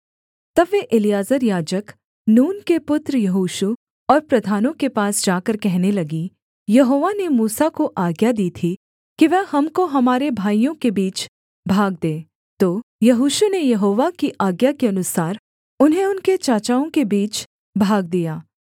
तब वे एलीआजर याजक नून के पुत्र यहोशू और प्रधानों के पास जाकर कहने लगीं यहोवा ने मूसा को आज्ञा दी थी कि वह हमको हमारे भाइयों के बीच भाग दे तो यहोशू ने यहोवा की आज्ञा के अनुसार उन्हें उनके चाचाओं के बीच भाग दिया